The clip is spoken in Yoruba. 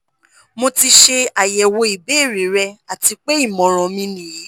" mo ti ṣe ayẹwo ibeere rẹ ati pe imọran mi niyi